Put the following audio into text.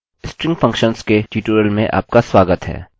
string functions के tutorial में आपका स्वागत है